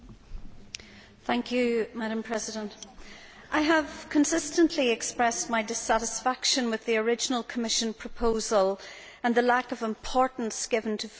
Madam President, I have consistently expressed my dissatisfaction with the original Commission proposal and the lack of importance given to food security.